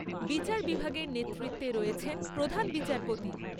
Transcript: বিচার বিভাগের নেতৃত্বে রয়েছেন প্রধান বিচারপতি।